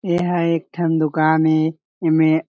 एहा एक ठन दुकान ए एमे--